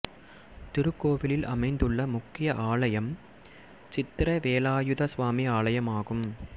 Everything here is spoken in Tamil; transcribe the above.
திருக்கோவிலில் அமைந்துள்ள முக்கிய ஆலயம் சித்திரவேலாயுத சுவாமி ஆலயம் ஆகும்